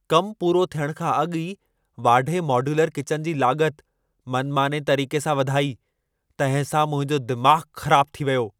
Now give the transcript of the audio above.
कमु पूरो थियण खां अॻु ई वाढे मॉड्यूलर किचन जी लाॻत, मनमाने तरीक़े सां वधाई तंहिं सां मुंहिंजो दिमाग़ु ख़राबु थी वियो।